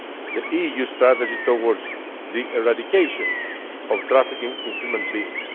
and the EU Strategy towards the Eradication of Trafficking in Human Beings